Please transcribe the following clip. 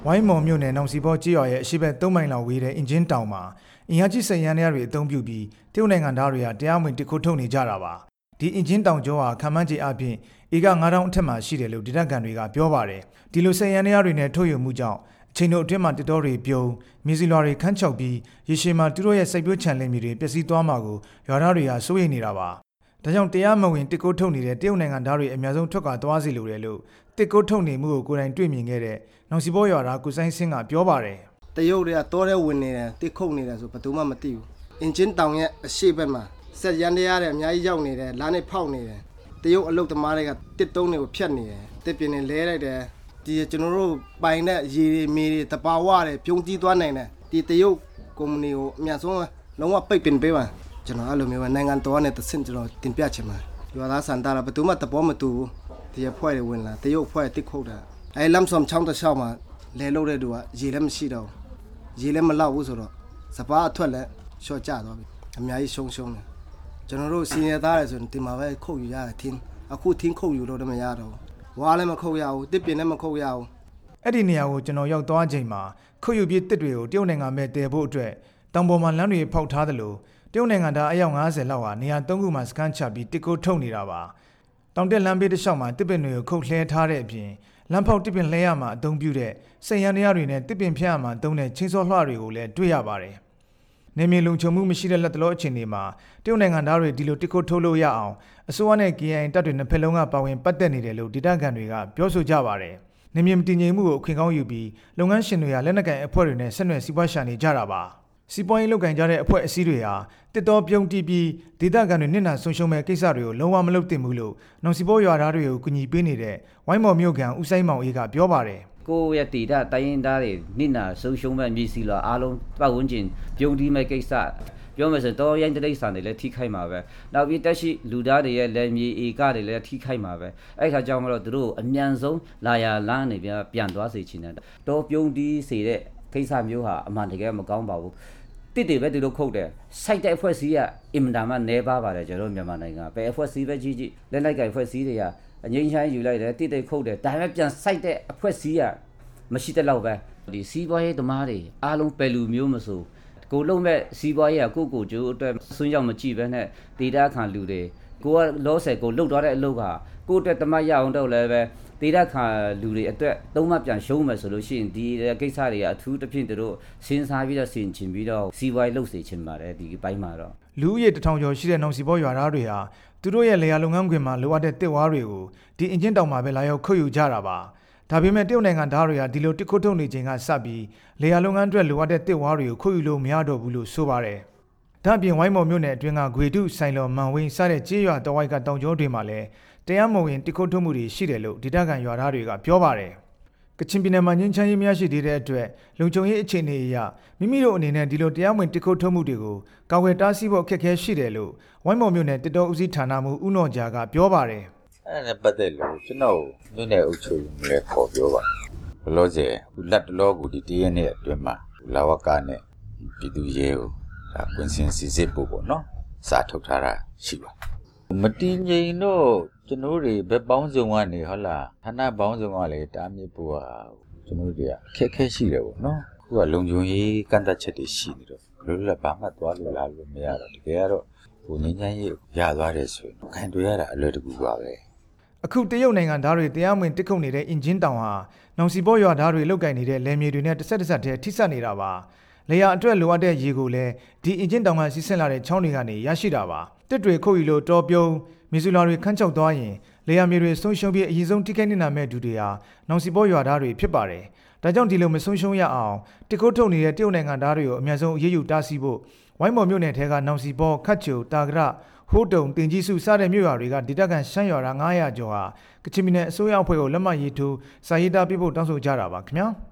ိုင်းမော်မြို့နယ် နောစီပေါကျေးရွာရဲ့ အရှေ့ဘက် ၃ မိုင်လောက်ဝေးတဲ့ အင်ကြင်းတောင်မှာ အင်အားကြီးစက်ယန္တရားတွေသုံးပြီး တရုတ်နိုင်ငံသားတွေက တရားမဝင်သစ်ခိုးထုတ်နေကြတာပါ။ ဒီအင်ကြင်းတောင်ကြောဟာ ခန့်မှန်းခြေအားဖြင့် ဧက ၅ သောင်းအထက်မှာရှိတယ်လို့ ဒေသခံတွေကပြောပါတယ်။ ဒီလိုစက်ယန္တရားတွေနဲ့ ထုတ်ယူမှုကြောင့် အချိန်တိုတွင်းမှာ သစ်တောတွေပြုန်း၊ မြေဇီလွှာတွေခန်းခြောက်ပြီး ရေရှည်မှာ သူတို့ရဲ့စိုက်ပျိုးခြံမြေတွေပျက်စီးသွားမှာကို ရွာသားတွေက စိုးရိမ်နေတာပါ။ ဒါကြောင့် တရားမဝင်သစ်ခိုးထုတ်နေတဲ့ တရုတ်နိုင်ငံသားတွေ အမြန်ဆုံးထွက်ခွာသွားစေလိုတယ်လို့ သစ်ခိုးထုတ်နေမှုကို ကိုယ်တိုင်တွေ့မြင်ခဲ့တဲ့ နောစီပေါရွာက ကိုစိုင်းဆင့်ကပြောပါတယ်။ ကိုစိုင်းဆင့် "တရုတ်တွေက တောထဲဝင်နေတယ်၊ သစ်ခုတ်နေတယ်ဆိုတာ ဘယ်သူမှမသိဘူး၊ အင်ကြင်းတောင်ရဲ့ အရှေ့ဘက်မှာ စက်ယန္တရားတွေ အများ ကြီးရောက်နေတယ်၊ လမ်းတွေဖောက်နေတယ်၊ တရုတ်အလုပ်သမားတွေက သစ်တုံးတွေကိုဖြတ်နေတယ်၊ သစ်ပင်တွေကိုလှဲလိုက်တယ်၊ ကျနော်တို့ ပိုင်တဲ့ရေတွေ၊ မြေတွေ၊ သဘာဝတွေပြုန်းတီး သွားနိုင်တယ်၊ တရုတ်ကုမ္ပဏီကို အမြန်ဆုံးလုံးဝပိတ်ပင်ပေးပါ၊ ကျနော်ကတော့ နိုင်ငံတော် ကနေတဆင့် ကျနော်တင်ပြချင်ပါတယ်၊ ရွားသားဆန္ဒကလဲ ဘယ်သူမှသဘောမတူဘူး၊ ဒီအဖွဲ့တွေဝင်လာတာ၊ တရုတ်အဖွဲ့သစ်ခုတ်တာ၊ နမ်ဆမ့်ချောင်း တစ်လျှောက် မှာ လယ်လုပ်တဲ့သူက ရေလဲမရှိတော့ဘူး၊ ရေလဲမလောက်ဘူးဆိုတော့ စပါးအထွက်လဲလျော့ကြသွားပြီ၊ အများကြီးဆုံးရှုံးတယ်၊ ကျနော်တို့ဆင်းရဲ သားတွေဆို ဒီမှာပဲထင်းခုတ်ယူရတယ်၊ အခုထင်းခုတ်ယူလို့ မရတော့ ဘူး၊ ဝါးလဲမခုတ်ရဘူး၊ သစ်ပင်လဲမခုတ်ရဘူး " အဲ့ဒီနေရာတွေကို ကျနော်ရောက်သွားချိန်မှာ ခုတ်ယူပြီးသစ်တွေကို တရုတ်နိုင်ငံကို သယ်သွားဖို့အတွက် တောင်ပေါ်မှာလမ်းတွေဖောက်ထားသလို တရုတ်နိုင်ငံသား ၅၀ ကျော်တို့ဟာ နေရာတစ်ခုမှာစခန်းချပြီး သစ်ခိုးထုတ်နေတာပါ၊ တောင်တက်လမ်းဘေး တစ်လျှောက်မှာ သစ်ပင်တွေကိုခုတ်လှဲထားတဲ့အပြင် လမ်းဖောက်၊ သစ်ပင်လှဲရာမှာ အသုံးပြုတဲ့ စက်ယန္တရားတွေနဲ့ သစ်ပင်ဖြတ်ရာမှာ အသုံးပြုတဲ့ လွှတွေကိုလဲ တွေ့ရ ပါတယ်၊ နယ်မြေလုံခြုံမှုမရှိသေးတဲ့ လတ်တလောအခြေအနေမှာ တရုတ်နိုင်ငံသားတွေ ဒီလိုသစ်ခိုးထုတ်လို့ရအောင် အစိုးရနဲ့ KIA တပ်တွေနှစ်ဖက်လုံး ကပါဝင်ပတ်သက် နေတယ်လို့ ဒေသခံတွေကပြောဆိုကြပါတယ်။ နယ်မြေမတည်ငြိမ်မှုကို အခွင့်ကောင်းယူပြီး လုပ်ငန်းရှင်တွေက လက်နက်ကိုင် အဖွဲ့ တွေနဲ့ စီးပွားရှာနေကြတာပါ။ စီးပွားရေးလုပ်ကိုင်ကြတဲ့ အဖွဲ့အစည်းတွေဟာ သစ်တောပြုန်းတီးပြီး ဒေသခံတွေနစ်နာဆုံးရှုံးမယ့် ကိစ္စတွေကို လုံးဝမလုပ်သင့်ဘူးလို့ နောင်စီပေါရွာသားတွေကို အကူအညီပေးနေတဲ့ ဝိုင်းမော်မြို့ခံ ဦးစိုင်းမောင်အေးကပြောပါတယ်။ ဦးစိုင်းမောင်အေး "ကိုယ့်အရပ်ဒေသတိုင်းရင်းသားတွေ နစ်နာဆုံးရှုံးမယ့် မြေဇီလွှာအားလုံး၊ ပတ်ဝန်းကျင် ပြုန်းတီးမယ့်ကိစ္စ ပြောမယ်ဆိုရင် တောရိုင်းတိရစ္ဆာန်တွေလဲ ထိခိုက်မှာပဲ၊ နောက်ပြီး သက်ရှိလူသားတွေရဲ့လယ်မြေဧကတွေလဲထိခိုက်မှာပဲ၊ အဲ့ဒါကြောင့်မို့လို့ သူတို့ အားလုံးကို လာရာလမ်းကနေ ချက်ချင်းပြန် လှည့်သွားစေချင်တယ်၊ တောပြုန်းတီးစေတဲ့ ကိစ္စမျိုးဟာအမှန်တကယ်တော့ မကောင်းပါဘူး၊ သစ်တွေပဲသူတို့ ခုတ်တယ်၊ စိုက်တဲ့အဖွဲ့အစည်းက အင်မတန်မှ နည်းပါးပါတယ် ကျနော်တို့မြန်မာနိုင်ငံမှာ ဘယ်အဖွဲ့အစည်းပဲကြည့်ကြည့် လက်နက်ကိုင်အဖွဲ့အစည်းတွေက ငြိမ်းချမ်းရေး ယူလိုက်တယ်၊ သစ်တွေခုတ်တယ်၊ ဒါပေမယ့် ပြန်စိုက်တဲ့အဖွဲ့အစည်းက မရှိသလောက်ပဲ၊ စီးပွားရေးသမားတွေအားလုံး ဘယ်လူမျိုးမဆို၊ ကိုယ်လုပ်မယ့် စီးပွားရေးက ကိုယ်ကိုကျိုးအတွက် အစွန်းရောက်မကြည့်ပဲနဲ့ ဒေသခံလူတွေ၊ လောလောဆယ် ကိုယ်လုပ်သွားတဲ့ အလုပ်က ကိုယ့်အတွက် ၁ မှတ်ရအောင် လုပ် လဲ၊ ဒေသခံတွေအတွက်က ၃ မှတ်ပြန်ရှုံးမယ်ဆိုရင် ဒီကိစ္စတွေက အထူးသဖြင့် သူတို့ စဉ်းစားပြီးတော့ လုပ်စေချင်ပါတယ်၊ ဒီအပိုင်းမှာကတော့" လူဦးရေ ၁ ထောင်ကျော်ရှိတဲ့ နောင်စီပေါရွာသားတွေဟာ သူတို့ရဲ့လယ်ယာ လုပ်ငန်းခွင်မှာ လိုအပ်တဲ့ သစ်၊ ဝါးတွေကို ဒီအင်ကြင်းတောင်မှာပဲလာရောက် ခုတ်ယူကြတာပါ၊ ဒါပေမယ့် တရုတ်နိုင်ငံသားတွေဟာ ဒီလို သစ်ခိုးထုတ်နေတဲ့ အချိန်ကစပြီး လယ်ယာလုပ်ငန်းတွက် လိုအပ်တဲ့ သစ်၊ ဝါးတွေကို ခုတ်ယူလို့ မရတော့ဘူးလို့ ဆိုပါတယ်။ ဒ့ါပြင် ဝိုင်းမော်မြို့နယ်တွင်းက ဂွေတု၊ ဆိုင်လော်၊ မိုင်ဝန်းစတဲ့ ကျေးရွာတစ်ဝိုက်က တောင်ကြောတွေမှာလဲ တရားမဝင် သစ်ခိုးထုတ်မှု တွေရှိတယ်လို့ ဒေသခံရွာသားတွေကပြောပါတယ်။ ကချင်ပြည်နယ်မှာ ငြိမ်းချမ်းရေးမရရှိသေးတဲ့အတွက် မိမိတို့အနေနဲ့ တရားမဝင် သစ်ခိုးထုတ်မှုတွေကို ကာကွယ်တားဆီးဖို့ အခက်အခဲရှိတယ်လို့ ဝိုင်းမော်မြို့နယ် သစ်တော ဦးစီးဌာနမှူး ဦးနော်ဂျာကပြောပါတယ်။ ဦးနော်ဂျာ "အဲ့ဒါနဲ့ပတ်သက်လို့ ကျနော့်ကိုမြို့နယ်အုပ်ချုပ်ရေးမှူး လဲခေါ်ပြောပါတယ်၊ လောလောဆယ် ဒီတစ်ရက်နှစ်ရာက်အတွင်းမှာ လဝကနဲ့ ပြည်သူ့ရဲကို ကွင်းဆင်း စစ်ဆေးပေးဖို့ စာထုတ်ထားတာရှိပါတယ်၊ မတည်ငြိမ်တော့ ကျနော်တို့တွေ ဘက်ပေါင်းစုံကနေ ဌာနပေါင်းစုံကနေ တားမြစ်ဖို့ရာ ကျနော် တို့တွေ အခက်အခဲ ရှိတယ်ပေါ့နော်၊ လုံခြုံရေး ကန့်သတ်ချက်တွေရှိနေတော့ လွတ်လွတ်လပ်လပ် ဘယ်မှသွားလို့၊ လာလို့မရဘူးဖြစ်နေတယ်၊ တကယ် ကတော့ ငြိမ်းချမ်းရေးရ သွားပြီဆိုရင် ကိုင်ရတာ အလွယ်တကူပါပဲ၊" အခုတရုတ်နိုင်ငံသားတွေ သစ်ခိုးထုတ်နေတဲ့ အင်ကြင်းတောင်ဟာ နောင်စီပေါ ရွာသားတွေ လုပ်ကိုင်နေတဲ့ လယ်မြေတွေနဲ့ တဆက်တည်းထိဆက်နေတာပါ၊ လယ်ယာအတွက် လိုအပ်တဲ့ရေကိုလဲ အင်ကြင်းတောင်ကနေစီးဆင်းလာတဲ့ ချောင်းတွေကနေရရှိတာပါ၊ သစ်တွေခုတ်ယူလို့ တောပြုန်း၊ မြေဇီလွှာတွေ ခန်းခြောက် သွားရင် လယ်ယာမြေတွေဆုံးရှုံးပြီး အရင်ဆုံးထိခိုက်နစ်နာမယ့်သူတွေဟာ နောင်စီပေါရွာသားတွေဖြစ်ပါတယ်၊ ဒါကြောင့်ဒီလိုမဆုံးရှုံးရအောင် သစ်ခိုးထုတ်နေတဲ့ တရုတ်နိုင်ငံသားတွေကို အမြန်ဆုံးအရေးယူတားမြစ်ဖို့ ဝိုင်းမော်မြို့နယ်ထဲက နောင်စီပေါ၊ ခက်ချို၊ တာသဒ၊ ဟို့တုန်၊ တင်ကြီးစု စတဲ့မြို့ရွာတွေက ဒေသခံရှမ်းရွာသား ၅၀၀ ကျော်ဟာ ကချင်ပြည်နယ်အစိုးရအဖွဲ့ကို စာရေးသားပေးပို့ တောင်းဆိုကြတာ ပါခင်ဗျာ။